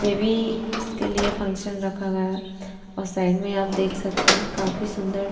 baby इसके लिए function रखा गया है और साइड मे आप देख सकते हो काफी सुंदर--